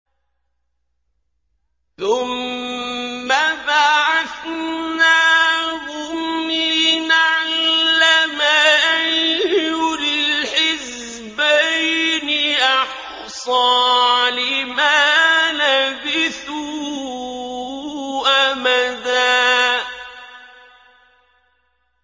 ثُمَّ بَعَثْنَاهُمْ لِنَعْلَمَ أَيُّ الْحِزْبَيْنِ أَحْصَىٰ لِمَا لَبِثُوا أَمَدًا